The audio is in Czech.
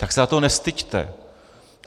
Tak se za to nestyďte.